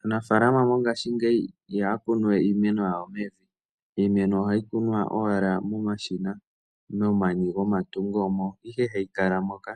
Aanafalama mongashingeyi ihaya kunu we iimeno yawo mevi. Iimeno ohayi kunwa owala momashina momani gomatungo mo. Omo ihe hayi kala moka